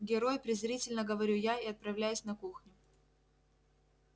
герой презрительно говорю я и отправляюсь на кухню